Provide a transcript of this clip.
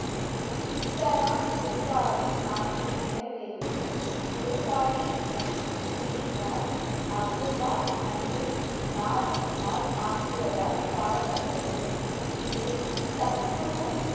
இஸ்தரான் குர்காதிப் ஆசை நிறைவேறியது வார் அப்துல்லாஹ் மற்றும் நாது மால் ஆகியோரால் பாடப்பட்டது இதில் சத்குரு